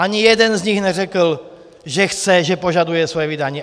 Ani jeden z nich neřekl, že chce, že požaduje svoje vydání.